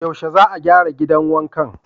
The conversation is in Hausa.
Yaushe za a gyara gidan wankan?